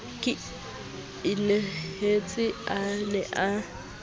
ke inehetse a ne a